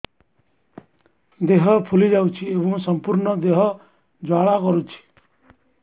ଦେହ ଫୁଲି ଯାଉଛି ଏବଂ ସମ୍ପୂର୍ଣ୍ଣ ଦେହ ଜ୍ୱାଳା କରୁଛି